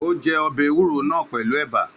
Ó jẹ ọbẹ̀ ewúro náà pẹlu ẹ̀bà